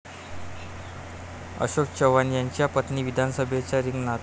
अशोक चव्हाण यांच्या पत्नी विधानसभेच्या रिंगणात?